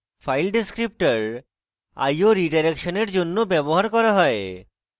file descriptors i/o রিডাইরেকশনের জন্য ব্যবহার করা হয়